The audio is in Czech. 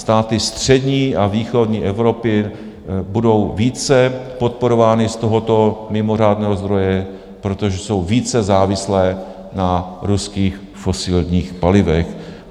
Státy střední a východní Evropy budou více podporovány z tohoto mimořádného zdroje, protože jsou více závislé na ruských fosilních palivech.